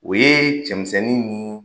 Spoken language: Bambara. O ye cɛmisɛnnin ni